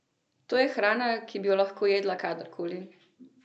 To je hrana, ki bi jo lahko jedla kadarkoli!